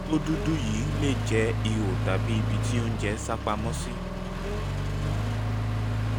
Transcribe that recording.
ibi tó dúdú yìí lè jẹ́ ihò tàbí ibi tí oúnjẹ sápamọ́ sí